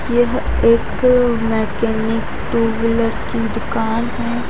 यह एक mechanic two wheeler की दुकान है।